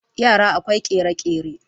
yara akwai kere-kere